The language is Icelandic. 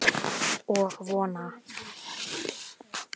Og vona.